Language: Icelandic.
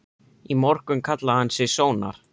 Í morgun kallaði hann sig Sónar.